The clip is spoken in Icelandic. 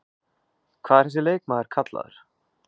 Hvað er þessi leikmaður kallaður?